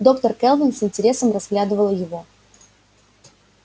доктор кэлвин с интересом разглядывала его